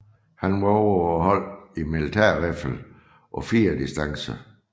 Han var også på holdet i militærriffel på fire distancer